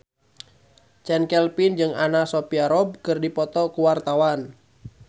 Chand Kelvin jeung Anna Sophia Robb keur dipoto ku wartawan